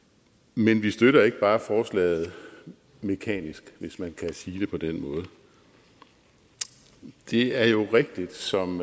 men vi støtter ikke bare forslaget mekanisk hvis man kan sige det på den måde det er jo rigtigt som